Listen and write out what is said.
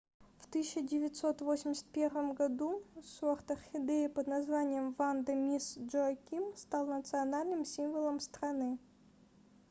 в 1981 году сорт орхидеи под названием ванда мисс джоаким стал национальным символом страны